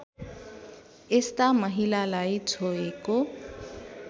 यस्ता महिलालाई छोएको